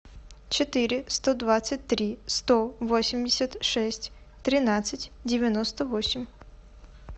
четыре сто двадцать три сто восемьдесят шесть тринадцать девяносто восемь